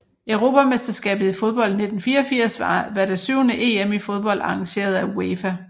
Europamesterskabet i fodbold 1984 var det syvende EM i fodbold arrangeret af UEFA